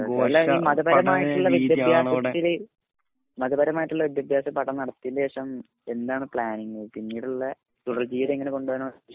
അല്ല ഈ മതപരമായ വിദ്യാഭ്യാസത്തിൽ മത പരമായിട്ടുള്ള വിദ്യാഭ്യാസ പഠനം നടത്തിയതിന് ശേഷം എന്താണ് പ്ലാനിംഗ്? പിന്നീടുള്ള തുടർജീവിതം എങ്ങനെ കൊണ്ട് പോവനാണ് ഉദേശിക്കുന്നത്?